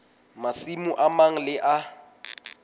masimo a mang le a